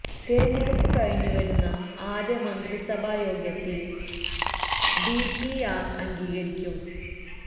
തിരഞ്ഞെടുപ്പ് കഴിഞ്ഞു വരുന്ന ആദ്യമന്ത്രിസഭാ യോഗത്തില് ഡി പി ആര് അംഗീകരിക്കും